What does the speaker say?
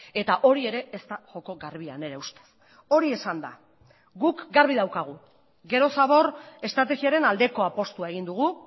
eta hori ere ez da joko garbia nire ustez hori esanda guk garbi daukagu gero zabor estrategiaren aldeko apustua egin dugu